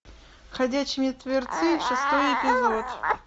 ходячие мертвецы шестой эпизод